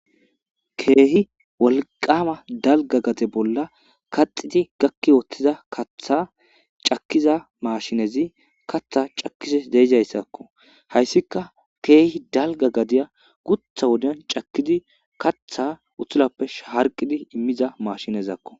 Kehi wolaqama dalga gade bolla kaxid gaki utida kaththa cakiza mashinezi cakishshe dizayissakko haysikka kehi dalga gada guththa wodiyan cakidi kaththa utulappe harqid imiza mashinezakko